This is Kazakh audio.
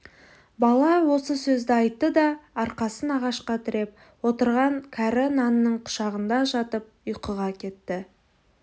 бала осы сөзді айтты да арқасын ағашқа тіреп отырған кәрі нанның құшағында жатып ұйқыға кетті